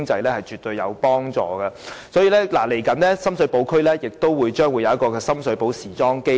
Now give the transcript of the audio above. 因此，接下來，深水埗區將設立深水埗時裝基地。